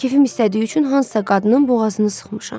Keyfim istədiyi üçün hansısa qadının boğazını sıxmışam.